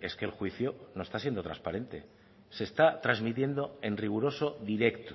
es que el juicio no está siendo transparente se está transmitiendo en riguroso directo